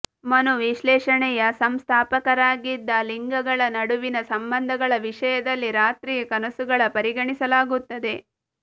ಮನೋವಿಶ್ಲೇಷಣೆಯ ಸಂಸ್ಥಾಪಕರಾಗಿದ್ದ ಲಿಂಗಗಳ ನಡುವಿನ ಸಂಬಂಧಗಳ ವಿಷಯದಲ್ಲಿ ರಾತ್ರಿಯ ಕನಸುಗಳ ಪರಿಗಣಿಸಲಾಗುತ್ತದೆ